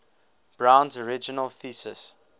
brown's original thesis